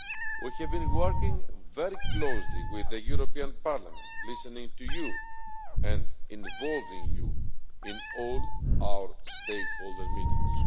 We have been working very closely with the European Parliament, listening to you and involving you in all our stakeholder meetings.